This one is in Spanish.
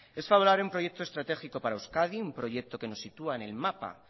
es favorable un proyecto estratégico para euskadi un proyecto que nos sitúa en el mapa